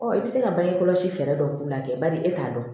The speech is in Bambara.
Ɔ i bɛ se ka bange kɔlɔsi fɛɛrɛ dɔ k'u lajɛ badi e t'a dɔn